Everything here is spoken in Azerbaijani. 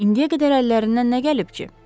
İndiyə qədər əllərindən nə gəlib ki?